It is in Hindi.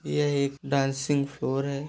यह एक डांसिंग फ्लोर है।